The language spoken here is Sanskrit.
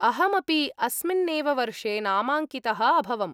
अहमपि अस्मिन्नेव वर्षे नामाङ्कितः अभवम्।